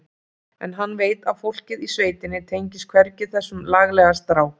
En hann veit að fólkið í sveitinni tengist hvergi þessum laglega strák.